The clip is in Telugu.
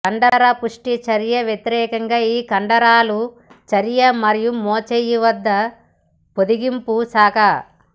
కండరపుష్టి చర్య వ్యతిరేకంగా ఈ కండరాలు చర్య మరియు మోచేయి వద్ద పొడిగింపు శాఖ